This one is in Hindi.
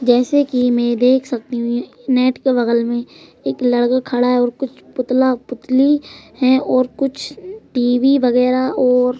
जैसे कि मैं देख सकती हूं नेट के बगल में एक लड़का खड़ा है और कुछ पुतला पुतली है और कुछ टी_वी वगैरा और--